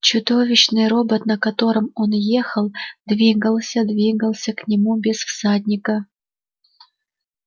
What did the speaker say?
чудовищный робот на котором он ехал двигался двигался к нему без всадника